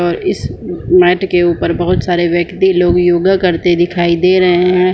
और इस मेट के ऊपर बहुत सारे व्यक्ति लोग योगा करते दिखाई दे रहे है।